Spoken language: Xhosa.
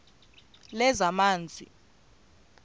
lezamanzi